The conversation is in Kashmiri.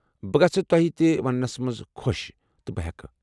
بہٕ گژھہٕ توہہِ تہِ وننس منز خوش تہٕ بہٕ ہیكہٕ ۔